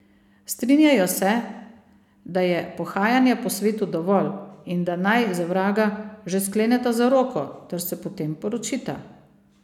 Strinjajo se, da je pohajanja po svetu dovolj in da naj, za vraga, že skleneta zaroko ter se potem poročita.